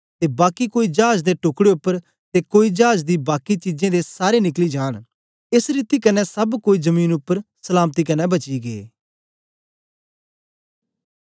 ते बाकी कोई चाज दे टुकड़े उप्पर ते कोई चाज दी बाकी चीजें दे सारे निकली जांन एस रीति कन्ने सब कोई जमीन उपर सलामती कन्ने बची गै